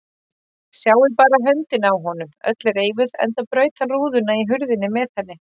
Sjáið bara höndina á honum, öll reifuð enda braut hann rúðuna í hurðinni með henni.